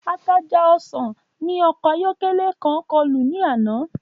Ataja osan ni ọkọ ayọkẹlẹ kan kọlu ni ana.